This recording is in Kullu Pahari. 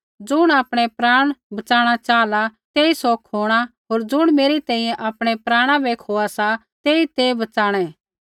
ज़ुण आपणै प्राण बच़ाणा चाहला तेई सौ खोणा होर ज़ुण मेरी तैंईंयैं आपणै प्राणा बै खोआ सा तेई ते बच़ाणै